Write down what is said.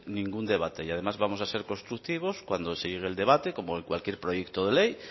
ningún debate y además vamos a ser constructivos cuando se llegue el debate como cualquier proyecto de ley